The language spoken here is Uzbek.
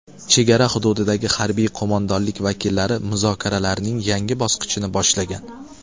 Chegara hududidagi harbiy qo‘mondonlik vakillari muzokaralarning yangi bosqichini boshlagan.